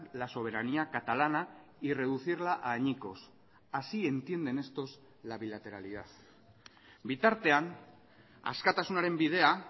la soberanía catalana y reducirla a añicos así entienden estos la bilateralidad bitartean askatasunaren bidea